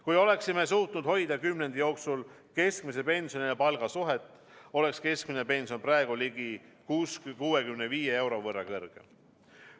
Kui oleksime suutnud hoida kümnendi jooksul keskmise pensioni ja palga suhet, oleks keskmine pension praegu ligi 65 euro võrra kõrgem.